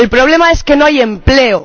El problema es que no hay empleo.